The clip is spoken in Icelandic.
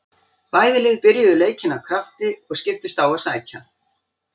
Bæði lið byrjuðu leikinn af krafti og skiptust á að sækja.